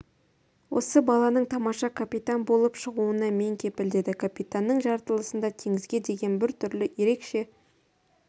осы баланың тамаша капитан болып шығуына мен кепіл деді капитаноның жаратылысында теңізге деген бір түрлі ерекше